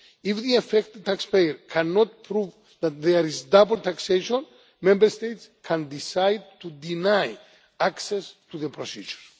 If the affected taxpayer cannot prove that there is double taxation, Member States can decide to deny access to the procedure.